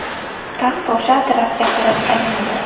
Taxt o‘sha tarafga qarab aylanadi”.